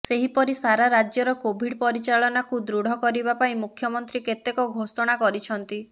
ସେହିପରି ସାରା ରାଜ୍ୟର କୋଭିଡ ପରିଚାଳନାକୁ ଦୃଢ଼ କରିବାପାଇଁ ମୁଖ୍ୟମନ୍ତ୍ରୀ କେତେକ ଘୋଷଣା କରିଛନ୍ତି